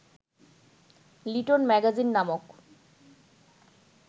little magazine নামক